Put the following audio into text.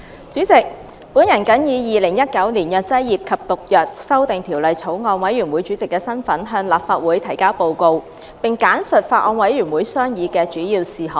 主席，我謹以《2019年藥劑業及毒藥條例草案》委員會主席的身份，向立法會提交報告，並簡述法案委員會商議的主要事項。